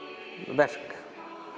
verk